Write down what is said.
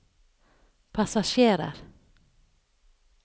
passasjerer